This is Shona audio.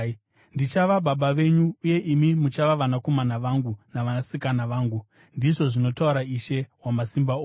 “ ‘Ndichava baba venyu, uye imi muchava vanakomana vangu navanasikana vangu,’ ndizvo zvinotaura Ishe Wamasimba Ose.”